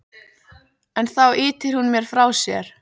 En þá ýtir hún mér frá sér.